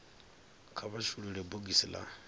kha vha shulule bogisi la